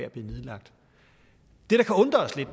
at blive nedlagt det